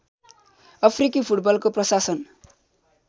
अफ्रिकी फुटबलको प्रशासन